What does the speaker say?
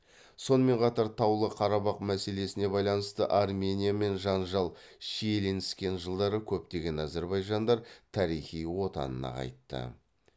сонымен қатар таулы қарабақ мәселесіне байланысты армениямен жанжал шиеленіскен жылдары көптеген әзірбайжандар тарихи отанына қайтты